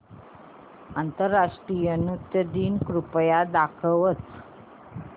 आंतरराष्ट्रीय नृत्य दिन कृपया दाखवच